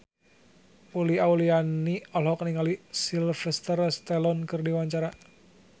Uli Auliani olohok ningali Sylvester Stallone keur diwawancara